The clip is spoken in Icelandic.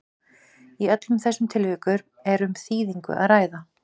í öllum þessum tilvikum er um þýðingu að ræða